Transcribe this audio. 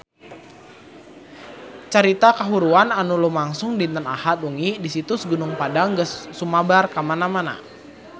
Carita kahuruan anu lumangsung dinten Ahad wengi di Situs Gunung Padang geus sumebar kamana-mana